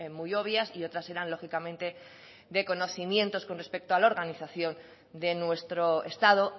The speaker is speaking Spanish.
muy obvias y otras eran lógicamente de conocimientos con respecto a la organización de nuestro estado